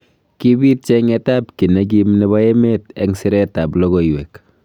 Kibit chenget ab ki nekim nebo emet eng siret ab lokoiwek.